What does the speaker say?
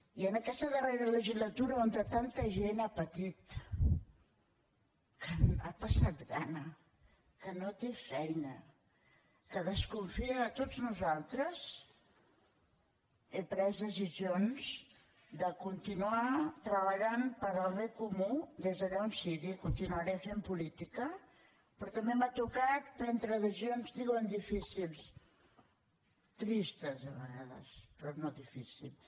i en aquesta darrera legislatura on tanta gent ha patit que ha passat gana que no té feina que desconfia de tots nosaltres he pres decisions de continuar treballant per al bé comú des d’allà on sigui continuaré fent política però també m’ha tocat prendre decisions diuen difícils tristes a vegades però no difícils